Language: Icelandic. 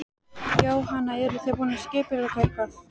Jóhann: Eruð þið búin að skipuleggja eitthvað?